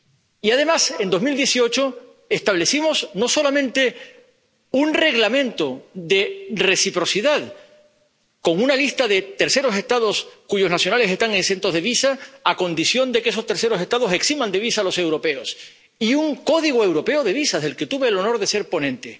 Y, además, en 2018, establecimos no solamente un Reglamento de reciprocidad con una lista de terceros Estados cuyos nacionales están exentos de visa a condición de que esos terceros Estados eximan de visa a los europeos, sino también un Código europeo de visados del que tuve el honor de ser ponente.